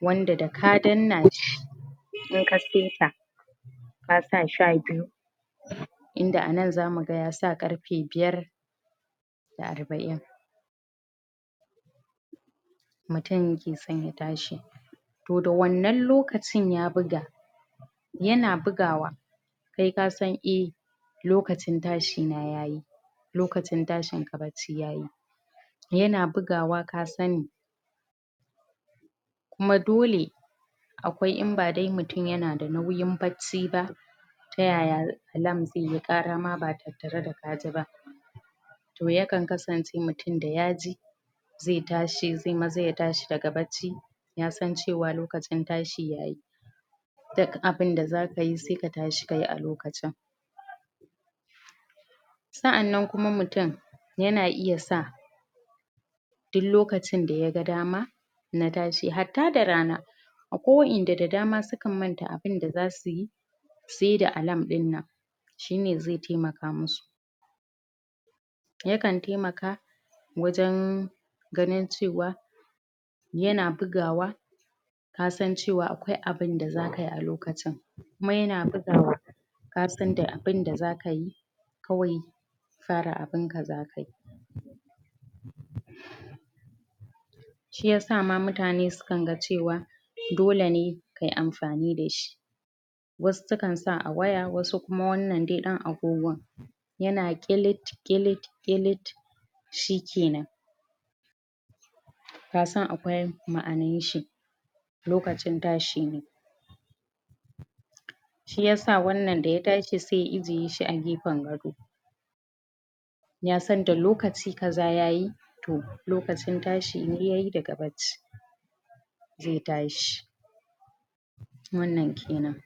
wanda da ka danna shi in ka saita ka sa shabiyu inda a nan za mu gan ya sa garfe biyar da arba'in mutum ke san ya tashi toh da wannan lokacin ya buga ya na bugawa kai ka san ei lokacin tashi na ya yi lokacin tashin ka baci ya yi ya na bugawa ka sani kuma dole akwai, in ba dai mutum ya na da nauyin baci ba ta yaya alarm zai yi kara ma ba tattare da ka ji ba toh ya kan kasance, mutum da ya ji zai tashi, ze yi maza ya tashi da ga baci ya san cewa, lokacin tashi yayi duk abun da za ka yi, sai ka tashi ka yi a lokacin sa'annan kuma mutum ya na iya sa duk lokacin da ya gan dama na tashi, hata da rana akwai wa'en da, da dama su kan manta abun da za su yi sai da alarm in nan shi ne zai taimaka musu ya kan taimaka wajen ganin cewa ya na buga wa ka san cewa, akwai abun da za ka yi a lokacin kuma ya na buga wa ka san da abun da za ka yi kawai fara abun ka za ka yi shiyasa ma mutane su kan gan cewa dole ne ka yi amfani da shi wasu su kan sa a waya, wasu kuma wannan dai dan agogon ya na kilit kilit kilit shikenan ka san akwai ma'anan shi lokacin tashi ne shiyasa wannan da ya tashi, sai ya ijeye shi a gefan gado ya san da lokaci kaza ya yi toh lokacin tashi ne yayi da ga baci zai tashi wannan kenan